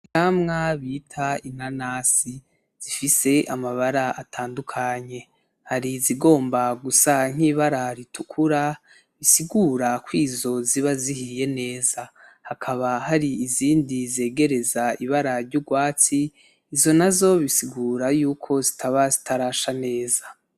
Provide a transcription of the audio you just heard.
Ivyamwa bita inanasi zifise amabara atandukanye, hari izigomba gusa nk'ibara ritukura, bisigura ko izo ziba zihiye neza. Hakaba hari izindi zigereza ibara ry'urwatsi, izo nazo bisigura yuko zitaba zirasha neza.